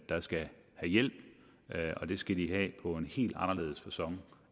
der skal have hjælp og det skal de have på en helt anderledes facon